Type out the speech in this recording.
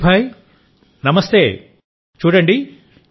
విపిన్ భాయ్ నమస్తే చూడండి